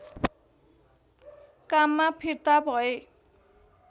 काममा फिर्ता भए